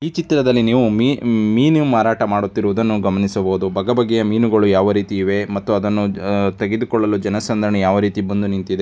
ಈ ಚಿತ್ರದಲ್ಲಿ ನೀವು ಮಿ ಮೀನು ಮಾರಾಟ ಮಾಡುತ್ತಿರುವುದನ್ನು ಗಮನಿಸಬಹುದು ಬಗ ಬಗೆಯ ಮೀನುಗಳು ಯಾವ ರೀತಿ ಇವೆ ಮತ್ತು ಅದನ್ನು ತೆಗೆದುಕೊಳ್ಳಲು ಜನಸಂದನಣಿ ಯಾವ ರೀತಿ ಬಂದು ನಿಂತಿದೆ.